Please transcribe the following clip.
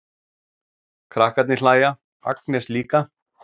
Krakkarnir hlæja, Agnes líka.